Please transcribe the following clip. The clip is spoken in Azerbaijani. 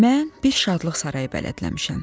Mən bir şadlıq sarayı bələdləmişəm.